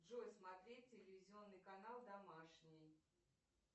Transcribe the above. джой смотреть телевизионный канал домашний